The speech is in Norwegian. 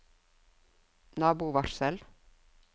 nabovarsel